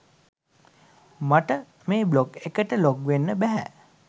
මට මේ බ්ලොග් එකට ලොග් වෙන්නම බැහැ